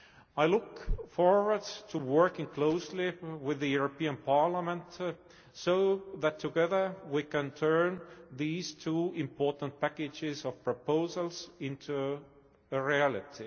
I look forward to working closely with the European Parliament, so that together we can turn these two important packages of proposals into a reality.